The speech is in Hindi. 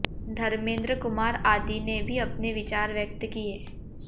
धर्मेंद्र कुमार आदि ने भी अपने विचार व्यक्त किए